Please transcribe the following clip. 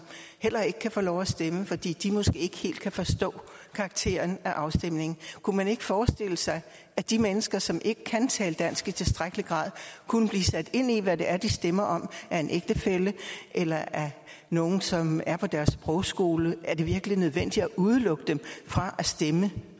heller ikke kan få lov at stemme fordi de måske ikke helt kan forstå karakteren af afstemningen kunne man ikke forestille sig at de mennesker som ikke kan tale dansk i tilstrækkelig grad kunne blive sat ind i hvad det er de stemmer om af en ægtefælle eller af nogle som er på deres sprogskole er det virkelig nødvendigt at udelukke dem fra at stemme